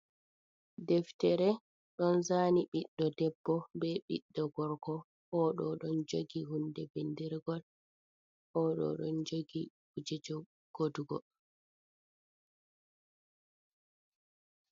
Deftere ɗon zaani ɓiɗɗo debbo be ɓiɗɗo gorko, o ɗo ɗon jogi hunde bindirgol, o ɗo ɗon jogi kuuje je godugo.